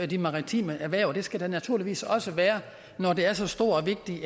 de maritime erhverv og det skal der naturligvis også være når det er så stort og vigtigt